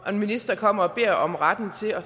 og en minister kommer og beder om retten til at